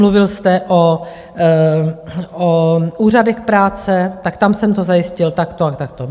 Mluvil jste o úřadech práce, tak tam jsem to zajistil takto a takto.